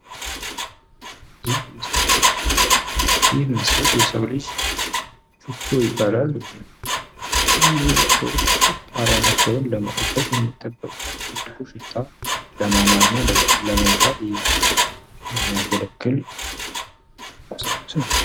ይህ ምስል የሰዉ ልጅ ሽቶ ይባል። ሰዎች ጠረናቸዉን ለመጠበቅ የሚጠቀሙበት ጥሩ ጠረን ያለዉ ሽታ ለማማር እና ለመዋብ የሚያገለግል ጠርሙስ ነዉ።